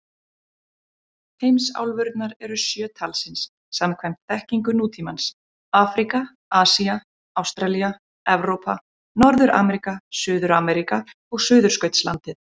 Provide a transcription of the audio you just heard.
Heimsálfurnar eru sjö talsins samkvæmt þekkingu nútímans: Afríka, Asía, Ástralía, Evrópa, Norður-Ameríka, Suður-Ameríka og Suðurskautslandið.